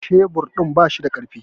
Shebur din ba shi da kaifi